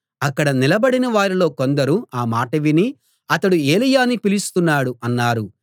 అక్కడ నిలబడిన వారిలో కొందరు ఆ మాట విని అతడు ఏలీయాను పిలుస్తున్నాడు అన్నారు